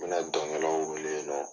N bɛna dɔnkɛlaw wele ka.